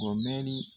O mɛnni